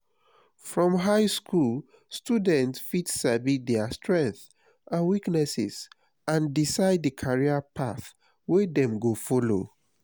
from high school students fit sabi their strength and weaknesses and decide the career path wey dem go follow